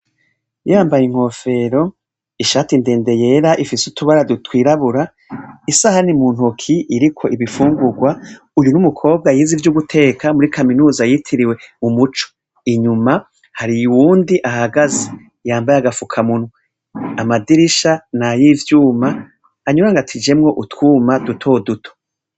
Yambaye inkofero ishati ndende yera ifise utubara twirabura isahani muntoki iriko ibifungurwa uwunumukobwa yize ivyo guteka muri kaminuza yitiriwe umuco inyuma hari uwundi ahahagaze yambaye agafuka munwa amadirisha nayivyuma anyurangatishijemwo utwuma duto duto